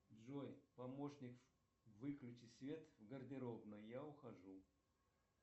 джой помощник выключи свет в гардеробной я ухожу